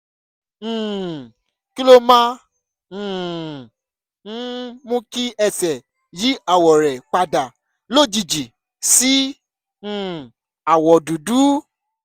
um kí ló máa um ń mú kí ẹsẹ̀ yí àwọ̀ rẹ̀ padà lójijì sí um àwọ̀ dúdú?